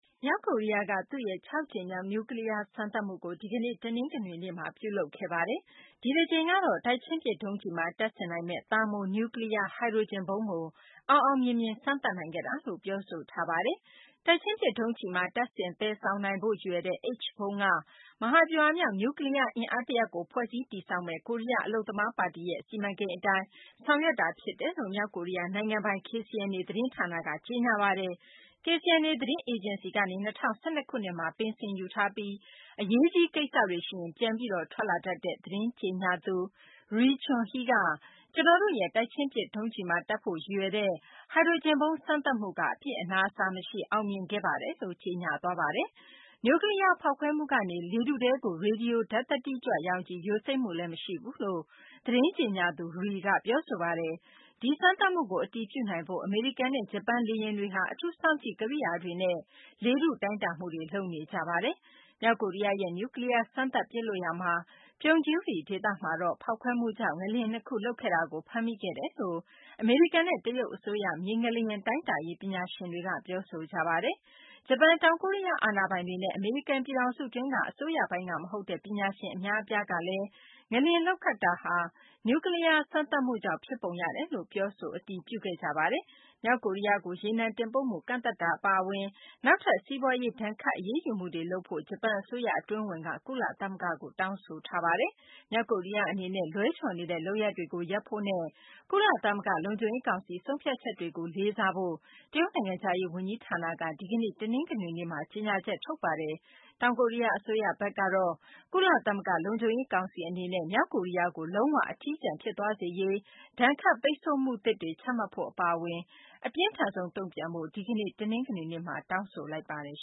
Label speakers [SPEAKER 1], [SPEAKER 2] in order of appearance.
[SPEAKER 1] မြောက်ကိုရီးယားက သူ့ရဲ့ ၆ ကြိမ်မြောက် နျူးကလီးယား စမ်းသပ်မှုကို ဒီကနေ့ တနင်္ဂနွေနေ့မှာ ပြုလုပ်ခဲ့ပါတယ်။ ဒီတကြိမ်ကတော့ တိုက်ချင်းပစ် ဒုံးကျည်မှာ တပ်ဆင်နိုင်မယ့် Thermonuclear Hydrogen ဗုံးကို အောင်အောင်မြင်မြင် စမ်းသပ်နိုင်ခဲ့တာလို့ ပြောဆိုထားပါတယ်။ တိုက်ချင်းပစ် ဒုံးကျည်မှာ တပ်ဆင် သယ်ဆောင် နိုင်ဖို့ ရည်ရွယ်တဲ့ H ဗုံးက မဟာဗျူဟာမြောက် နျူးကလီးယား အင်အား တရပ်ကို ဖွဲ့စည်းတည်ဆောက်မယ့် ကိုရီးယား အလုပ်သမား ပါတီရဲ့ စီမံကိန်းအတိုင်း ဆောင်ရွက်တာ ဖြစ်တယ်လို့ မြောက်ကိုရီးယား နိုင်ငံပိုင် KCNA သတင်းက ကြေညာပါတယ်။ KCNA သတင်းအေဂျင်စီကနေ ၂၀၁၂ ခုနှစ်မှာ ပင်စင်ယူထားပြီး အရေးကြီး ကိစ္စတွေ ရှိရင် ပြန်ပြီး ထွက်လာတတ်တဲ့ သတင်းကြေညာသူ Ri Chun Hee က "ကျနော်တို့ရဲ့ တိုက်ချင်းပစ် ဒုံးကျည်မှာ တပ်ဖို့ ရည်ရွယ်တဲ့ ဟိုဒရိုဂျင်ဗုံး စမ်းသပ်မှုက အပြစ်အနာအဆာ မရှိ အောင်မြင်ပါခဲ့ပါတယ်လို့ ကြေညာသွားတာပါ။" နျူးကလီးယား ဖောက်ခွဲမှုကနေ လေထုထဲကို ရေဒီယို ဓာတ်သတ္တိကြွ ရောင်ခြည် ယိုစိမ့်မှုလည်း မရှိဘူးလို့ သတင်းကြေညာသူ Ri က ပြောဆိုသွားပါတယ်။ ဒီစမ်းသပ်မှုကို အတည်ပြုနိုင်ဖို့ အမေရိကန်နဲ့ ဂျပန်လေယဉ်တွေဟာ အထူးစောင့်ကြည့်ကိရိယာတွေနဲ့ လေထုတိုင်းတာမှုတွေ လုပ်နေကြပါတယ်။ မြောက်ကိုရီးယားရဲ့ နျူးကလီးယား စပ်သပ် ပစ်လွှတ်ရာ Punggye-ri ဒေသမှာတော့ ဖောက်ခွဲမှုကြောင့် ငလျင် နှစ်ခု လှုပ်ခတ်ခဲ့တာကို ဖမ်းမိခဲ့တယ်လို့ အမေရိကန်နဲ့ တရုတ် အစိုးရ မြေငလျင် တိုင်းတာရေး ပညာရှင်တွေက ပြောဆိုကြပါတယ်။ ဂျပန် တောင်ကိုရီးယားအာဏာပိုင်တွေနဲ့ အမေရိကန်ပြည်ထောင်းစုက အစိုးရပိုင်းကမဟုတ်တဲ့ ပညာရှင်အများအပြားကလည်း ငလျှင်လှုပ်ခတ်မှုဟာ နျူးကလီးယား စမ်းသပ်မှုကြောင့် ဖြစ်ပုံရတယ်လို့ ပြောဆို အတည်ပြုခဲ့ကြပါတယ်။ မြောက်ကိုရီးယားကို ရေနံတင်ပို့မှု ကန့်သတ်တာအအပါအဝင် နောက်ထပ် စီးပွားရေးဒဏ်ခတ်အရေးယူမှုတွေလုပ်ဖို့ ဂျပန်အစိုးရအတွင်းဝန်က ကုလသမဂ္ဂကို တောင်းဆိုထားပါတယ်။ မြောက်ကိုရီးယား အနေနဲ့ လွဲချော်နေတဲ့ လုပ်ရပ်တွေကို ရပ်ဖို့နဲ့ ကုလသမဂ္ဂ လုံခြုံရေး ကောင်စီ ဆုံးဖြတ်ချက်တွေကို လေးစားဖို့ တရုတ်နိုင်ငံခြားရေး ဝန်ကြီးဌာနက ဒီကနေ့ တနင်္ဂနွေနေ့မှာ ကြေညာချက် ထုတ်ပါတယ်။ တောင်ကိုရီးယား အစိုးရဘက်ကတော့ ကုလသမဂ္ဂ လုံခြုံရေး ကောင်စီ အနေနဲ့ မြောက်ကိုရီးယားကို လုံး၀ အထီးကျန် ဖြစ်သွားစေရေး ဒဏ်ခတ်ပိတ်ဆိုမှုသစ်တွေ ချမှတ်ဖို့ အပါအဝင် အပြင်းထန်ဆုံး တုံ့ပြန်ဖို့ ဒီကနေ့ တနင်္ဂနွေနေ့မှာ တောင်းဆိုလိုက်ပါတယ်